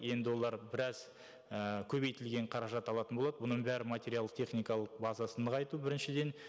енді олар біраз і көбейтілген қаражат алатын болады бұның бәрі материалды техникалық базасын нығайту біріншіден